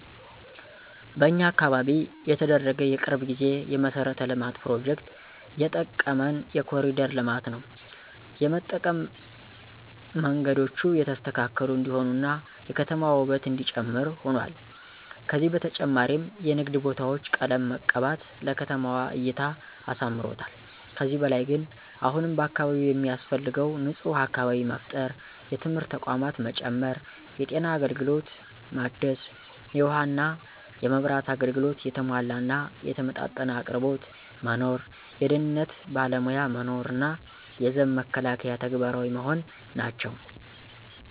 በኛ አካባቢ የተደረገ የቅርብ ጊዜ የመሠረተ ልማት ፕሮጀክት የጠቀመን የኮሪደር ልማት ነው የጠቀመንም መንገዶቹ የተስተካከሉ እንዲሆኑ እና የከተማዋ ውበት እነዲጨምር ሁኗል። ከዚ በተጨማሪም የንግድ ቦታዎች ቀለም መቀባት ለከተማዋ እይታ አሳምሮታል። ከዚህ በላይ ግን አሁንም በአካባቢው የሚያስፈልገው ንፁህ አካባቢ መፍጠር፣ የትምህርት ተቋማት መጨመር፣ የጤና አገልግሎት ማደስ፣ የውሃ እና የመብራት አገልግሎት የተሟላ እና የተመጣጠነ አቅርቦት መኖር፣ የደህንነት ባለሞያ መኖር እና የዘብ መከላከያ ተግባራዊ መሆን ናቸው።